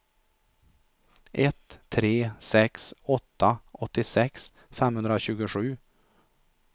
ett tre sex åtta åttiosex femhundratjugosju